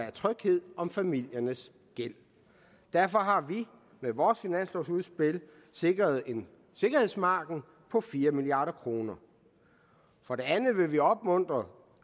er tryghed om familiernes gæld derfor har vi med vores finanslovsudspil sikret en sikkerhedsmargin på fire milliard kroner for det andet vil vi opmuntre